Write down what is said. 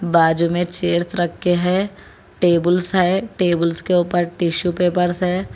बाजू में चेयर्स रख के है टेबुल्स है टेबुल्स के ऊपर टिशू पेपर्स है।